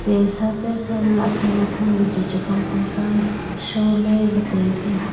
pesa pesa nu athan athan ley chu chaphang phang sa am sholey ley tai tiya.